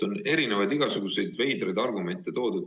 On igasuguseid veidraid argumente toodud.